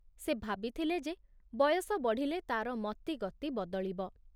ସେ ଭାବିଥିଲେ ଯେ ବୟସ ବଢ଼ିଲେ ତାର ମତିଗତି ବଦଳିବ ।